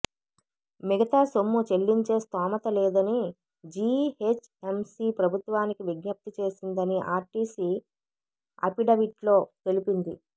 మిగతా సొమ్ము చెల్లించే స్థోమత లేదని జీహెచ్ఎంసీ ప్రభుత్వానికి విజ్ఞప్తి చేసిందని ఆర్టీసీ అఫిడవిట్లో తెలిపింది